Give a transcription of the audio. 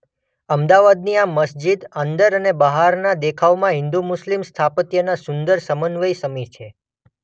અમદાવાદની આ મસ્જિદ અંદર અને બહારનાં દેખાવમાં હિન્દુ મુસ્લિમ સ્થાપત્યના સુંદર સમવન્વય સમી છે.